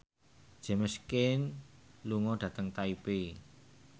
James Caan lunga dhateng Taipei